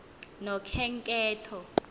nokhenketho